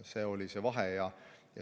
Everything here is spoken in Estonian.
See oli see vahe.